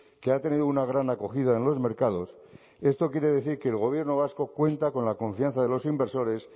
que ha tenido una gran acogida en los mercados esto quiere decir que el gobierno vasco cuenta con la confianza de los inversores